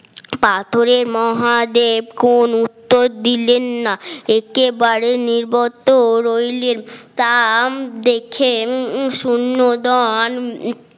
পাথরের মহাদেব কোন উত্তর দিলেন না একেবারে নিরবতো রইলেন তা দেখে সুনন্দন